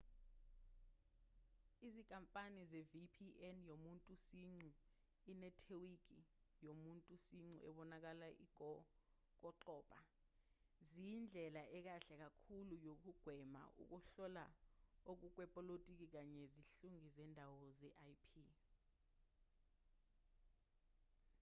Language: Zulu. izinkampani ze-vpn yomuntu siqu inethiweki yomuntu siqu ebonakala ingokoqobo ziyindlela ekahle kakhulu yokugwema ukuhlola okungokwepolotiki kanye zihlungi zendawo ze-ip